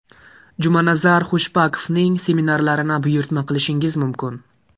Jumanazar Khushbakovning seminarlarini buyurtma qilishingiz mumkin!